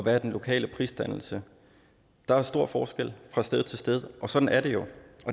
er den lokale prisdannelse der er stor forskel fra sted til sted og sådan er det jo